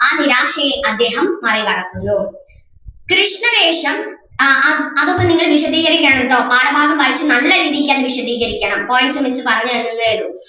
ആ നിരാശയെ അദ്ദേഹം മറികടക്കുന്നു കൃഷ്ണവേഷം അഹ് ആഹ് അതൊക്കെ നിങ്ങൾ വിശദീകരിക്കണം ട്ടോ പാഠഭാഗം വായിച്ച് നല്ല രീതിക്ക് തന്നെ വിശദീകരിക്കണം points വെച്ച് പറഞ്ഞു തരുകയേയുള്ളു.